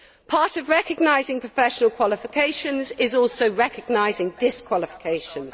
Part of recognising professional qualifications is also recognising disqualifications.